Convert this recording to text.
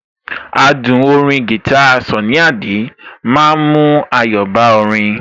Adùn orin guitar Sunny Adé ma ń mú ayọ̀ bá orin